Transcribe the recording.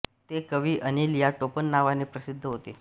ते कवी अनिल या टोपण नावाने प्रसिद्ध होते